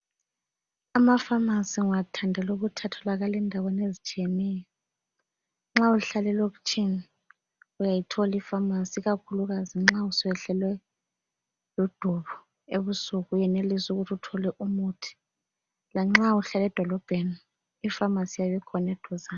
Amafamasi ngiwathandela ukuthi atholakala endaweni ezitshiyeneyo nxa uhlala elokitshini uyayitholi ifamasi ikakhulu kazi nxa suyehlelwe ludubo ebusuku uyenelisa ukuthi uthole umuthi lanxa uhlala edolobheni ifamasi iyabe ikhona eduzane.